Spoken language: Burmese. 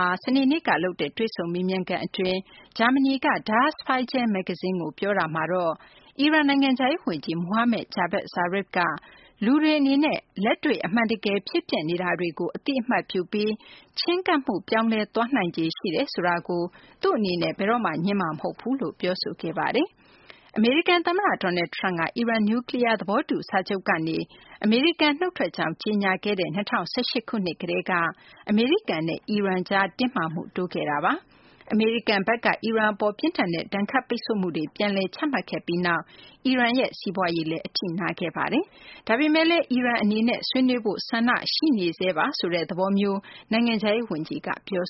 ာ စနေနေ့ကလုပ်တဲ့ တွေ့ဆုံမေးမြန်းခန်းအတွင်း ဂျာမနီက Der Spiegel မဂ္ဂဇင်းကို ပြောကြားတာမှာတော့ အီရန် နိုင်ငံခြားရေးဝန်ကြီး Mohammed Javad Zarif က လူတွေအနေနဲ့ လက်တွေ့ အမှန်တကယ် ဖြစ်ပျက်နေတာတွေကို အသိအမှတ်ပြုပြီး ချဉ်းကပ်မှု ပြောင်းလဲသွားနိုင်ခြေ ရှိတယ်ဆိုတာကို သူ့အနေနဲ့ ဘယ်တော့မှ ငြင်းမှာမဟုတ်ဘူးလို့ ပြောဆိုခဲ့တာပါ။ အမေရိကန်သမ္မတ Donald Trump က အီရန် နျူးကလီးယား သဘောတူစာချုပ်ကနေ အမေရိကန် နုတ်ထွက်ကြောင်း ကြေညာခဲ့တဲ့ ၂၀၁၈ ခုနှစ်ကတည်းက အမေရိကန်နဲ့ အီရန်ကြား တင်းမာမှုက တိုးလာခဲ့တာပါ။ အမေရိကန်ဘက်က အီရန်အပေါ် ပြင်းထန်တဲ့ ဒဏ်ခတ်ပိတ်ဆို့မှုတွေ ပြန်လည်ချမှတ်ခဲ့ပြီးနောက်မှာ အီရန်ရဲ့ စီးပွားရေးလည်း အထိနာစေခဲ့ပါတယ်။ ဒါပေမယ့်လည်း အီရန်အနေနဲ့ ဆွေးနွေးဖို့ ဆန္ဒရှိနေဆဲပါဆိုတဲ့ သဘောမျိုး နိုင်ငံခြားရေးဝန်ကြီးက ပြော